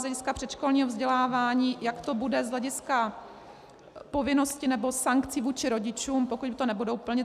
Z hlediska předškolního vzdělávání, jak to bude z hlediska povinnosti nebo sankcí vůči rodičům, pokud to nebudou plnit.